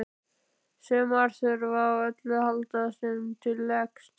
Sumar þurfa á öllu að halda sem til leggst.